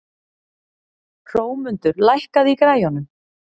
Hrómundur, lækkaðu í græjunum.